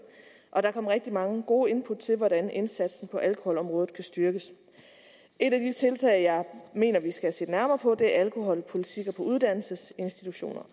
og der kom rigtig mange gode input til hvordan indsatsen på alkoholområdet kan styrkes et af de tiltag jeg mener vi skal se nærmere på er alkoholpolitikker på uddannelsesinstitutioner